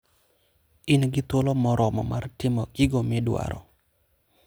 In gi thuolo moromo mar timo gigo midwaro.